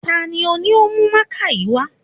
Ta ni ò ní ó mú mákà yìí wá?